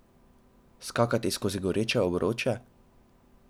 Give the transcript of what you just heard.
Skakati skozi goreče obroče?